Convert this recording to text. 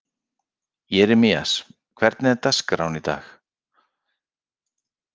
Jeremías, hvernig er dagskráin í dag?